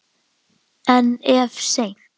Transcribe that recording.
En of seint.